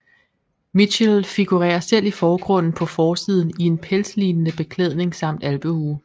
Mitchell figurerer selv i forgrunden på forsiden i en pelslignende beklædning samt alpehue